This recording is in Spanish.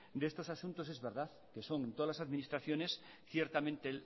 de estos asuntos es verdad que son todas las administraciones ciertamente